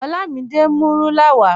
Olamide n mú rúlà wà.